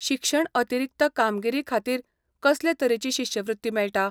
शिक्षण अतिरिक्त कामगिरीखातीर कसले तरेची शिश्यवृत्ती मेळटा?